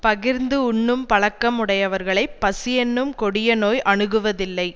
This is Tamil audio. பகிர்ந்து உண்ணும் பழக்கம் உடையவர்களைப் பசியென்னும் கொடிய நோய் அணுகுவதில்லை